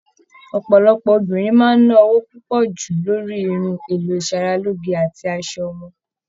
Ọpọlọpọ obìnrin máa ná owó pọju lórí irun, èlò isaraloge àti aṣọ wọn.